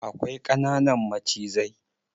Akwai ƙananan macizai.